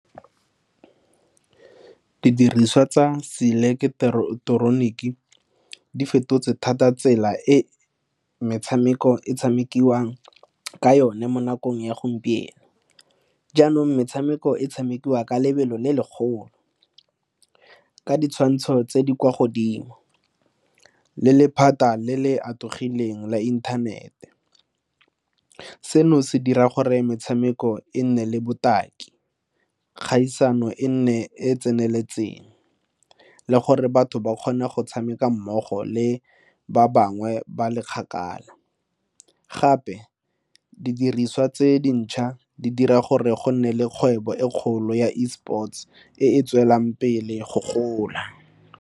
Didiriswa tsa seileketeroniki di fetotse thata tsela e metshameko e tshamekiwang ka yone mo nakong ya gompieno. Jaanong metshameko e tshamekiwa ka lebelo le legolo ka ditshwantsho tse di kwa godimo le lephata le le atlegileng la inthanete. Seno se dira gore metshameko e nne le botaki kgaisano e nne e e tseneletseng le gore batho ba kgone go tshameka mmogo le ba bangwe ba le kgakala gape didiriswa tse dintšhwa di dira gore go nne le kgwebo e kgolo ya E sports e e tswelang pele go gola.